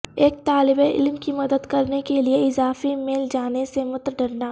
ایک طالب علم کی مدد کرنے کے لئے اضافی میل جانے سے مت ڈرنا